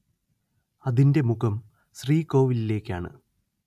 അതിന്റെ മുഖം ശ്രീകോവിലിലേക്കാണ്‌‍